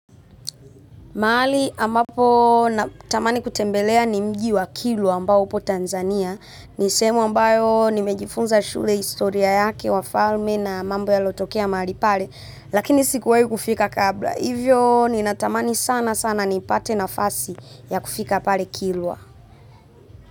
Mahali ambapo natamani kutembelea ni mji wa kilwa ambao upo Tanzania. Ni sehemu ambayo nimejifunza shule historia yake wafalme na mambo yaliotokea mahali pale. Lakini sikuwahi kufika kabla. Hivyo ninatamani sana sana nipate nafasi ya kufika pale kilwa.